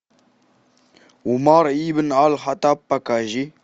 умар ибн аль хаттаб покажи